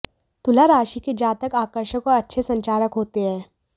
तुला राशि के जातक आकर्षक और अच्छे संचारक होते हैं